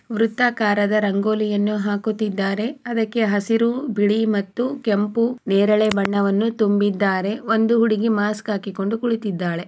ವೃತ್ತಾಕಾರದ ರಂಗೋಲಿಯನ್ನು ಹಾಕುತ್ತಿದ್ದಾರೆ. ಅದಕ್ಕೆ ಹಸಿರು ಬಿಳಿ ಮತ್ತು ಕೆಂಪು ನೇರಳೆ ಬಣ್ಣವನ್ನು ತುಂಬಿದ್ದಾರೆ ಒಂದು ಹುಡುಗಿ ಮಾಸ್ಕ್ ಹಾಕಿಕೊಂಡು ಕುಳಿತಿದ್ದಾಳೆ